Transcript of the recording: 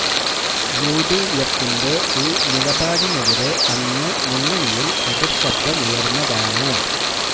U D എഫിന്റെ ഈ നിലപാടിനെതിരെ അന്നേ മുന്നണിയില് എതിര് ശബ്ദമുയര്ന്നതാണ്